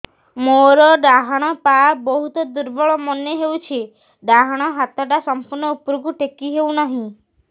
ମୋର ଡାହାଣ ପାଖ ବହୁତ ଦୁର୍ବଳ ମନେ ହେଉଛି ଡାହାଣ ହାତଟା ସମ୍ପୂର୍ଣ ଉପରକୁ ଟେକି ହେଉନାହିଁ